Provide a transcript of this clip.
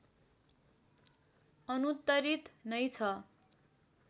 अनुत्तरित नै छ